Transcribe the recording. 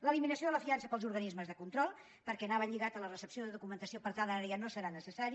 l’eliminació de la fiança per als organismes de control perquè anava lligat a la recepció de documentació per tant ara ja no serà necessari